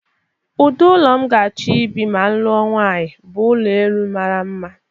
Ụdị ụlọ m ga-achọ ịbị ma m lụọ nwanyị bụ ụlọ enu mara mma.